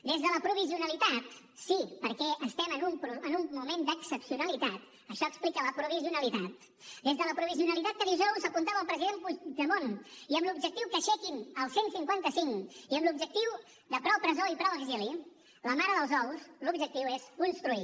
des de la provisionalitat sí perquè estem en un moment d’excepcionalitat això explica la provisionalitat des de la provisionalitat que dijous apuntava el president puigdemont i amb l’objectiu que aixequin el cent i cinquanta cinc i amb l’objectiu de prou presó i prou exili la mare dels ous l’objectiu és construir